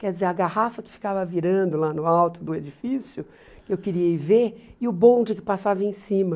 Quer dizer, a garrafa que ficava virando lá no alto do edifício, que eu queria ir ver, e o bonde que passava em cima.